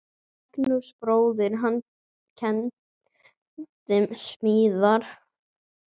Magnús bróðir hans kenndi smíðar.